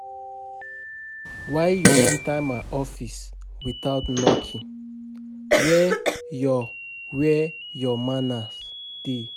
Why you enter my office without knocking? Where your Where your manners dey?